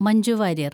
Manju Warrier‍